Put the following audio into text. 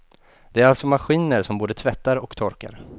Det är alltså maskiner som både tvättar och torkar.